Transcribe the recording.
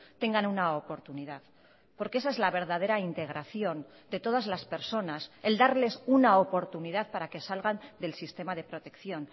tengan una oportunidad porque esa es la verdadera integración de todas las personas el darles una oportunidad para que salgan del sistema de protección